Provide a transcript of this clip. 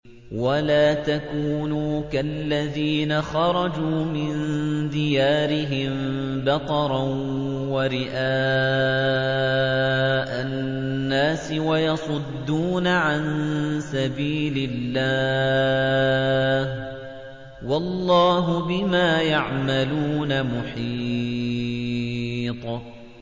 وَلَا تَكُونُوا كَالَّذِينَ خَرَجُوا مِن دِيَارِهِم بَطَرًا وَرِئَاءَ النَّاسِ وَيَصُدُّونَ عَن سَبِيلِ اللَّهِ ۚ وَاللَّهُ بِمَا يَعْمَلُونَ مُحِيطٌ